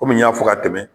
Kɔmi n y'a fɔ ka tɛmɛ